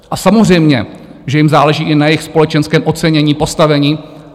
A samozřejmě že jim záleží i na jejich společenském ocenění, postavení.